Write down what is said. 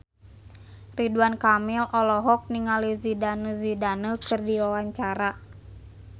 Ridwan Kamil olohok ningali Zidane Zidane keur diwawancara